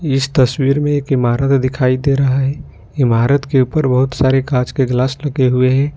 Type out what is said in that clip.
इस तस्वीर मे एक ईमारत दिखाई दे रहा है इमारत के ऊपर बहुत सारे कांच के ग्लास लगे हुए हैं।